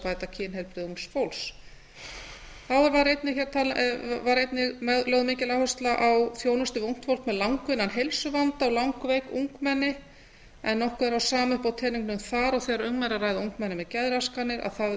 bæta kynheilbrigði ungs fólks þá var einnig lögð mikil áhersla á þjónustu við ungt fólk með langvinnan heilsuvanda og langveik ungmenni en nokkuð er það sama uppi á teningnum þar og þegar um er að ræða ungmenni með geðraskanir að